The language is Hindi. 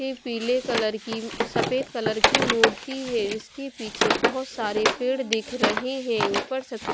पीले कलर की सफेद कलर की मूर्ती है जिसके पीछे बहोत सारे पेड़ दिख रहे है ऊपर से पे--